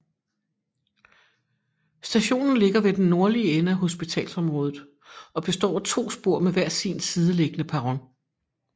Stationen ligger ved den nordlige ende af hospitalsområdet og består af to spor med hver sin sideliggende perron